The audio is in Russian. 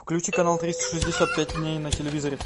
включи канал триста шестьдесят пять дней на телевизоре